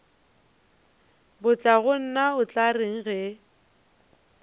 batlagonna o tla reng ge